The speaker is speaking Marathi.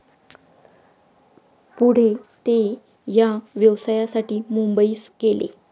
पुढे ते या व्यवसायासाठी मुंबईस गेले.